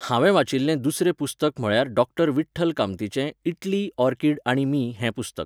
हांवें वाचिल्लें दुसरें पुस्तक म्हळ्यार डॉक्टर विठ्ठल कामतीचें इटली, ऑरकिड आणि मी हें पुस्तक